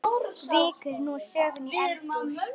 Víkur nú sögunni í eldhús.